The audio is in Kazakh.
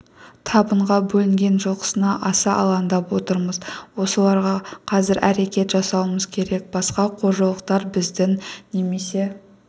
табынға бөлінген жылқысына аса алаңдап отырмыз осыларға қазір әрекет жасауымыз керек басқа қожалықтар біздің немесе